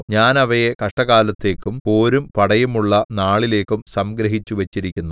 ഞാൻ അവയെ കഷ്ടകാലത്തേക്കും പോരും പടയുമുള്ള നാളിലേക്കും സംഗ്രഹിച്ചുവച്ചിരിക്കുന്നു